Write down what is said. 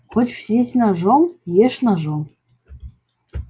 хочешь есть ножом ешь ножом